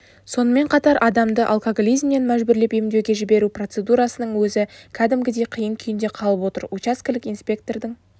сонымен қатар адамды алкоголизмнен мәжбүрлеп емдеуге жіберу процедурасының өзі кәдімгідей қиын күйінде қалып отыр учаскелік инспектордың